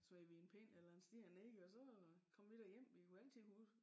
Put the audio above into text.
Så smed vi en pind eller en sten ned og så kom vi da hjem vi kunne altid huske